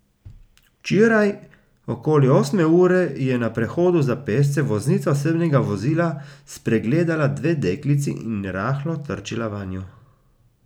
Včeraj okoli osme ure je na prehodu za pešce voznica osebnega vozila spregledala dve deklici in rahlo trčila vanju.